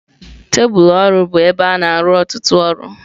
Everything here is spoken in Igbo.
Tebụlụ ọrụ bụ ebe a na-arụ ọtụtụ ọrụ.